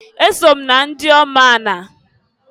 Eso m na ndiomu ani.